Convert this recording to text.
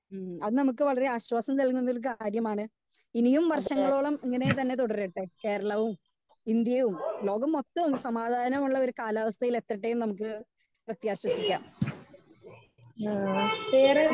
Speaker 2 ഹ്മ്മ് അത് നമുക്ക് വളരെ ആശ്വാസം നൽകുന്ന ഒര്‌ കാര്യമാണ്. ഇനിയും വർഷങ്ങളോളം ഇങ്ങനെ തന്നെ തുടരട്ടെ കേരളവും ഇന്ത്യയും ലോകം മൊത്തം സമാധാന മുള്ളൊരു കാലവസ്ഥയിൽ എത്തട്ടെ എന്ന് നമുക്ക് പ്രേത്യാസംസിക്കാം. വേറെ